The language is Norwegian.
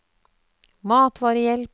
matvarehjelp